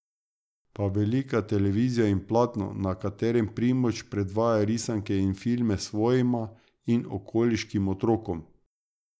Pa velika televizija in platno, na katerem Primož predvaja risanke in filme svojima in okoliškim otrokom.